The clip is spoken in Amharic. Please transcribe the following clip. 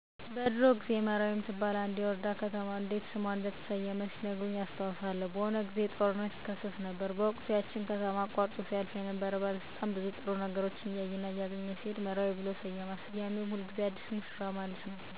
እኔ በቤተሰብ ስለ ሀገር ስያሜ እሰማለሁ በድሮዎ ጊዜ መራዊ የምትባል አንድ ወረዳ እንዴት ስሟ እንደተሰየመ ሲነግሩኝ አቃለሁ እሱንም ማን እና እንዴት እንደተሰየመች ስጠይቅ በሆነ ጊዜ ጦርነት ይከሰት ነበረ እና በዛን ወቅት ከጦርነቱ ማግስት ያችን ከተማ አቆርጦ ሲያልፍ የነበረ ባለስልጣን ብዙ ጥሩ ነገሮችን እያየና እያገኘ ሲሄድ መራዊ ብሎ ሰየማት ስያሜውም ሁልጊዜ አዲስ ወይም ሙሽራ እንደማለት ነው ከዚያን ጊዜ ጀምሮ መራዊ ተብሎ ተሰየመ።